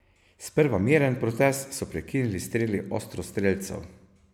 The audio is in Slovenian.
Sprva miren protest so prekinili streli ostrostrelcev.